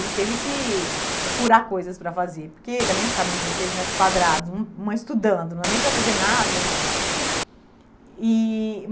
Ele teve que procurar coisas para fazer, porque também ficaram dezesseis metros quadrados, um uma estudando, não era nem para fazer nada né. E